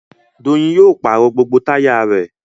Doyin yóò pàrọ̀ gbogbo táyà rẹ̀